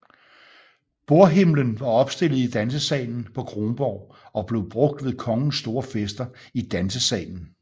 Bordhimlen var opstillet i Dansesalen på Kronborg og blev brugt ved kongens store fester i Dansesalen